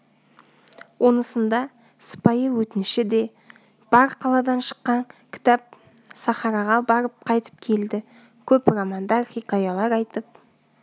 онысында сыпайы өтініші де бар қаладан шыққан кітап сахараға барып қайтып келді көп романдар хикаялар айтып